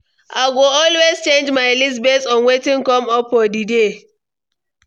I go always change my list based on wetin come up for di day.